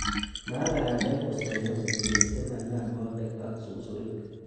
Maa bandek kosoyo komie simanam bobek ak susurik.